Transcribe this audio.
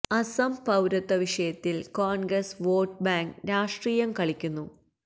അസം പൌരത്വ വിഷയത്തില് Congress vote bank രാഷ്ട്രീയം കളിക്കുന്നു